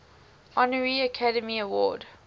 honorary academy award